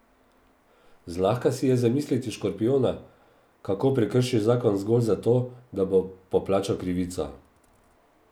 Zlahka si je zamisliti škorpijona, kako prekrši zakon zgolj zato, da bo poplačal krivico.